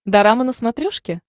дорама на смотрешке